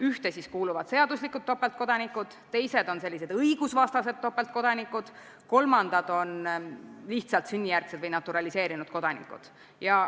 Ühte kuuluvad seaduslikud topeltkodanikud, teised on õigusvastaselt topeltkodanikud, kolmandad on lihtsalt sünnijärgsed või naturaliseeritud kodanikud.